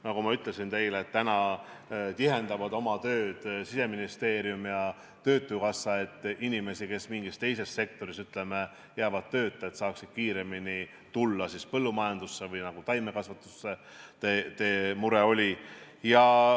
Nagu ma ütlesin teile, täna tihendavad oma koostööd Siseministeerium ja töötukassa, et inimesed, kes mingis teises sektoris jäävad tööta, saaksid kiiremini tulla põllumajandusse või taimekasvatusse, mille pärast teil mure oli.